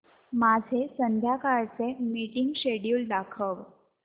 माझे संध्याकाळ चे मीटिंग श्येड्यूल दाखव